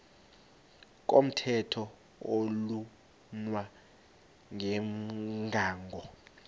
komthetho oflunwa ngumgago